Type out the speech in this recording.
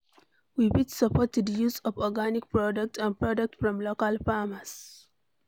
We fit support di use of organic products and products from local farmers